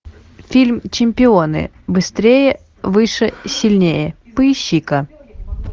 фильм чемпионы быстрее выше сильнее поищи ка